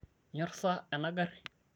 inyorr sa ena garri?